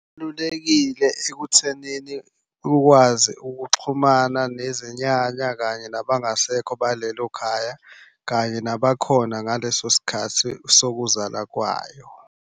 Kubalulekile ekuthenini ukwazi ukuxhumana nezinyanya kanye nabangasekho balelo khaya kanye nabakhona ngaleso sikhathi sokuzalwa kwayo.